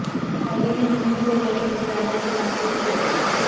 مودی نے جنوبی کوریا کے وزیراعظم سے بات چیت کی